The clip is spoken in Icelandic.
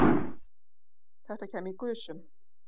Þetta kæmi í gusum